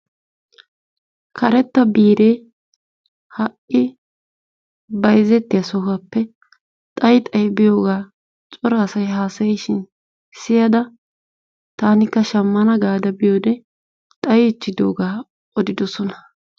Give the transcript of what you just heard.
Karettaa biiree ha'i bayzzettiyo sohuwaappee xayi xayi biyoogaa cora asay haasayishiin siyada taanikka shammana gaada biyode xayiichidogaa odidosona.